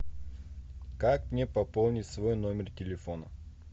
как мне пополнить свой номер телефона